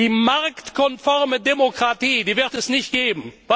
Die marktkonforme Demokratie wird es nicht geben.